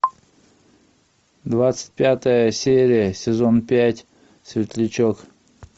двадцать пятая серия сезон пять светлячок